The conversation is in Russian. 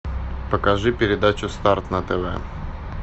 покажи передачу старт на тв